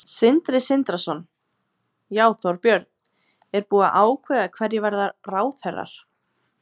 Sindri Sindrason: Já, Þorbjörn, er búið að ákveða hverjir verða ráðherrar?